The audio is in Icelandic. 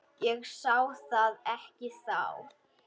Ég sá það ekki þá.